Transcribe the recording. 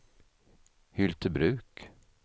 Hyltebruk